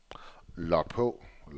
log på